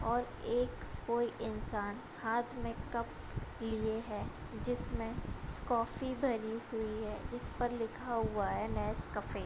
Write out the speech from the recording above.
और एक कोई इंसान हाथ में कप लिए है जिसमे कॉफ़ी भरी हुई है | जिस पर लिखा हुआ है नेसकफे |